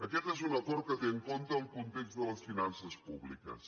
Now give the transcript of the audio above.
aquest és un acord que té en compte el context de les finances públiques